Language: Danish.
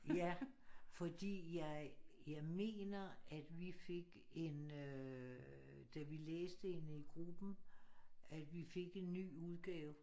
Ja fordi jeg jeg mener at vi fik en øh da vi læste hende i gruppen at vi fik en ny udgave